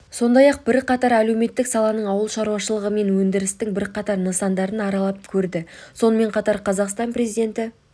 сондай-ақ бірқатар әлеуметтік саланың ауыл шаруашылығы мен өндірістің бірқатар нысандарын аралап көрді сонымен қатар қазақстан президенті